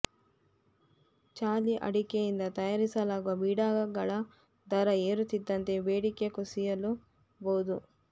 ಚಾಲಿ ಅಡಿಕೆಯಿಂದ ತಯಾರಿಸಲಾಗುವ ಬೀಡಾಗಳ ದರ ಏರುತ್ತಿದ್ದಂತೆ ಬೇಡಿಕೆ ಕುಸಿಯಲೂ ಬಹುದು